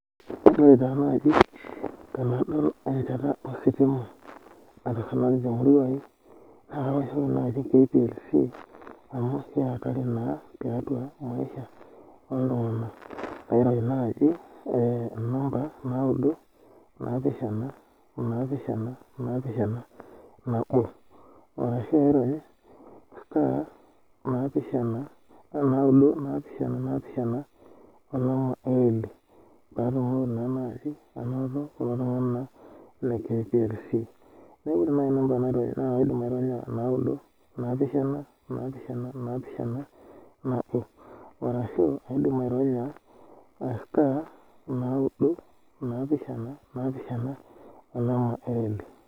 Ore ta naji tanadol enchata ositima natusulari temurua aai naa kawoshoki esimu nai kplc amu keatari na tiatua maisha oltunganak kairony nai namba naudo napishana napishana nabo arashu airony star napishana naudo napishana napishana patumoki naa nai ainoto kulo tunganak le kplc nakaidim atoosho naudo napishana napishana nabo arashu aidimu aironya star nao naudo napishana